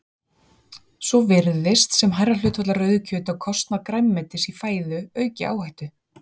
Svo virðist sem hærra hlutfall af rauðu kjöti á kostnað grænmetis í fæðu auki áhættu.